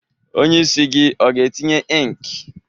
Onye isi gị ọ ga-etinye ink?